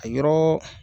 A yɔrɔ